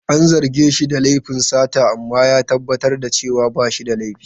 An zarge shi da laifin sata amma ya tabbatar da cewa ba shi da laifi.